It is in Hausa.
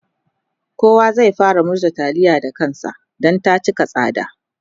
kowa zai fara murza taliya Da kansa Dan ta cika tsada